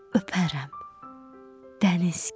Öpərəm dəniz kimi.